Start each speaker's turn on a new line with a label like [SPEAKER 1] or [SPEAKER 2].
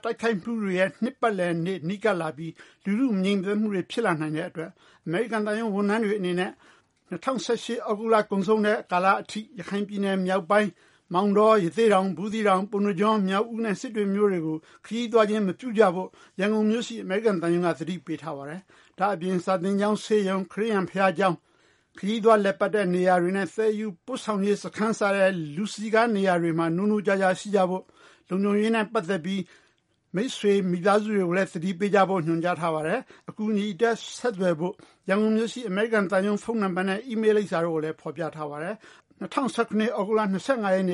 [SPEAKER 1] တိုက်ခိုက်မှုတွေရဲ့ နှစ်ပတ်လည်နေ့ နီးကပ်လာပြီး လူထု မငြိမ်သက်မှုတွေ ဖြစ်လာနိုင်တဲ့အတွက် အမေရိကန်သံရုံးဝန်ထမ်းတွေအနေနဲ့ ၂၀၁၈ခုနှစ် သြဂုတ်လ ကုန်ဆုံးတဲ့ ကာလအထိ ရခိုင်ပြည်နယ်မြောက်ပိုင်းက မောင်တော၊ ရသေ့တောင်၊ ဘူးသီးတောင်၊ ပုဏ္ဏကျွန်း၊ မြောက်ဦးနဲ့ စစ်တွေမြို့တွေကို ခရီးသွားခြင်းမပြုကြဖို့ ရန်ကုန်မြို့ရှိ အမေရိကန်သံရုံးက သတိပေးထားပါတယ်။ ဒါအပြင် စာသင်ကျောင်း၊ ဆေးရုံ၊ ခရစ်ယာန်ဘုရားကျောင်း၊ ခရီးသွားလည်ပတ်တဲ့နေရာတွေနဲ့ ပို့ဆောင်ရေးစခန်း စတဲ့ လူစည်းကားတဲ့နေရာတွေမှာ နိုးနိုးကြားကြားရှိကြဖို့၊ လုံခြုံရေးနဲ့ ပတ်သက်ပြီး မိတ်ဆွေ၊ မိသားစုတွေကိုလည်း သတိပေးကြဖို့ ညွန်ကြားထားပါတယ်။ အကူအညီအတွက် ဆက်သွယ်ဖို့ ရန်ကုန်မြို့ရှိ အမေရိကန်သံရုံး ဖုန်းနံပါတ်နဲ့ အီးမေးလ် လိပ်စာတို့ကိုလည်း ဖေါ်ပြထားပါတယ်။ ၂၀၁၇ခုနှစ် သ
[SPEAKER 2] ြဂုတ်လ ၂၅ ရက်နေ